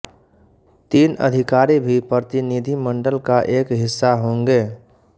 तीन अधिकारी भी प्रतिनिधिमंडल का एक हिस्सा होंगे